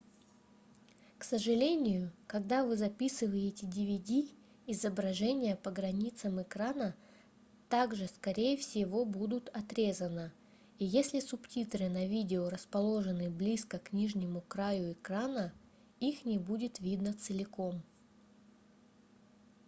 к сожалению когда вы записываете dvd изображение по границам экрана также скорее всего будут отрезано и если субтитры на видео расположены близко к нижнему краю экрана их не будет видно целиком